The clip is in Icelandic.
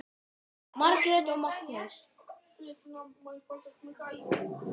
Margrét og Magnús.